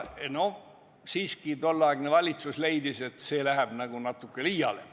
Siiski tolleaegne valitsus leidis, et see läheb liiale.